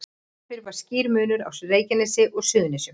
Áður fyrr var skýr munur á Reykjanesi og Suðurnesjum.